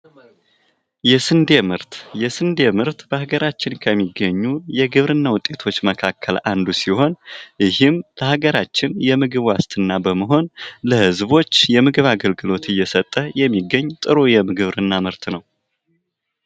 የስንዴ ምርት በሀገራችን ከሚገኙ የግብርና ውጤቶች መካከል አንዱ ሲሆን ይህም በሀገራችን የምግብ ዋስትና በመሆን ለህዝቦች የምግብ አገልግሎት እየሰጠ የሚገኝ ጥሩ የግብርና ምርት ነው።